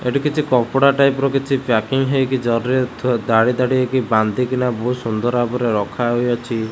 ଏଠି କିଛି କପଡ଼ା ଟାଇପ୍ ର କିଛି ପ୍ୟାକିଙ୍ଗ ହେଇକି ଜରି ରେ ଥୁ ଧାଡ଼ି-ଧାଡ଼ି ହେଇକି ବାନ୍ଧିକି ନା ବହୁତ୍ ସୁନ୍ଦର ଭାବରେ ରଖା ହୋଇଅଛି।